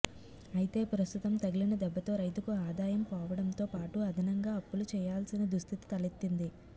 అయితే ప్రస్తుతం తగిలిన దెబ్బతో రైతుకు ఆదాయం పోవడంతో పాటు అదనంగా అప్పులు చేయాల్సిన దుస్థితి తలెత్తింది